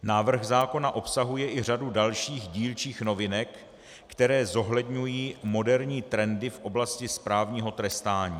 Návrh zákona obsahuje i řadu dalších dílčích novinek, které zohledňují moderní trendy v oblasti správního trestání.